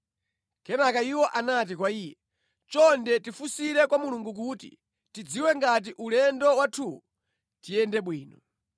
Kenaka iwo anati kwa iye, “Chonde tifunsire kwa Mulungu kuti tidziwe ngati ulendo wathuwu tiyende bwino.”